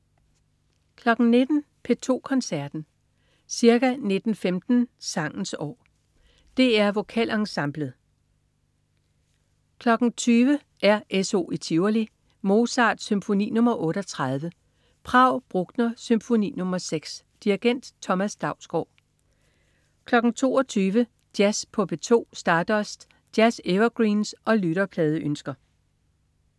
19.00 P2 Koncerten. Ca. 19.15 Sangens år. DR Vokalensemblet. 20.00 RSO i Tivoli. Mozart: Symfoni nr. 38, Prag. Bruckner: Symfoni nr. 6. Dirigent: Thomas Dausgaard 22.00 Jazz på P2. Stardust. Jazz-evergreens og lytterpladeønsker